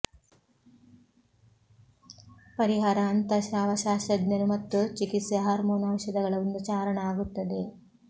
ಪರಿಹಾರ ಅಂತಃಸ್ರಾವಶಾಸ್ತ್ರಜ್ಞನು ಮತ್ತು ಚಿಕಿತ್ಸೆ ಹಾರ್ಮೋನ್ ಔಷಧಗಳ ಒಂದು ಚಾರಣ ಆಗುತ್ತದೆ